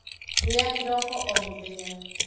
Rĩa kĩroko o mũthenya.